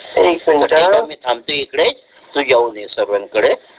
मी थांबतो इकडे तु जाऊन ये सर्वांकडे